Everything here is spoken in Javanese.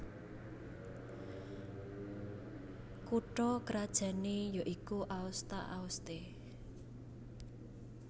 Kutha krajanné ya iku Aosta Aoste